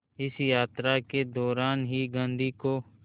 इस यात्रा के दौरान ही गांधी को